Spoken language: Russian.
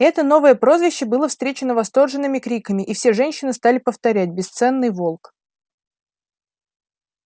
это новое прозвище было встречено восторженными криками и все женщины стали повторять бесценный волк